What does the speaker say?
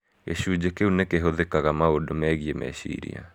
Gĩcunjĩ kiũ nĩ kĩhũthĩkaga maũndũ megiĩ meciria.